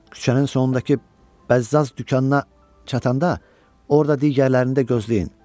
Küçənin sonunda bəzzaz dükanına çatanda orda digərlərini də gözləyin.